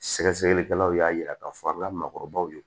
Sɛgɛsɛgɛlikɛlaw y'a yira k'a fɔ a ka maakɔrɔbaw ye